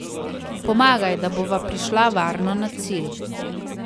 Pomagaj, da bova prišla varno na cilj.